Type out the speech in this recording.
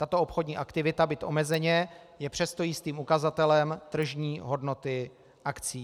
Tato obchodní aktivita, byť omezeně, je přesto jistým ukazatelem tržní hodnoty akcií.